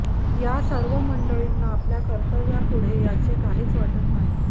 या सर्व मंडळीना आपल्या कर्तव्यापुढे याचे काहीच वाटत नाही